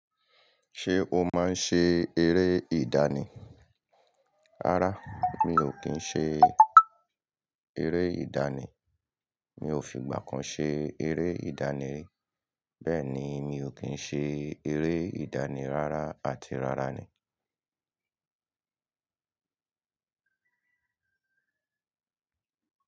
Ṣé o máa ń ṣe eré ìdánì? Rárá mi ò kí ń ṣe eré ìdánì. Mi ò fìgbà kan ṣe eré ìdánì rí. Bẹ́ẹ̀ ni, mi ò kín ṣe eré ìdáni ráárá àti rárá ni.